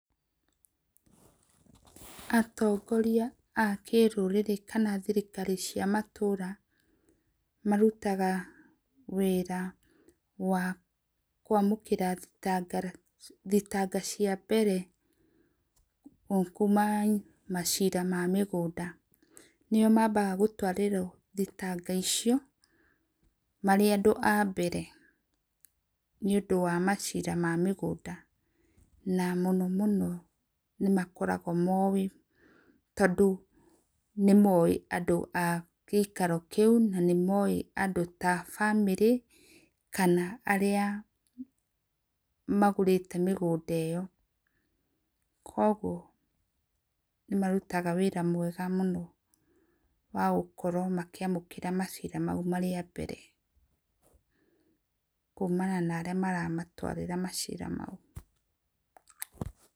Atongorĩa a kĩrũrĩrĩ kana thĩrikari cia matũra marũtaga wĩra wa kũamũkĩra thĩtangara thĩtanga cia mbere o kũma macĩra ma mũgũnda nĩo mabaga gũtwarĩrwo thĩtanga icio, marĩ andũ a mbere nĩ ũndũ wa macĩra wa mĩgũnda na mũno mũno nĩmakoragwo moe tondũ nĩ moe andũ a gĩakĩro kĩũ na maĩ andũ ta bamĩri kana arĩa magũrĩte mĩgũnda ĩyo, kwogwo nĩmarũtaga wĩra mwega mũno wa gũkorwo makĩamũkĩra macĩra maũ marĩ a mbere kũmana na arĩa maramatwarĩra macĩra maũ.